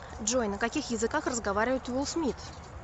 джой на каких языках разговаривает уилл смит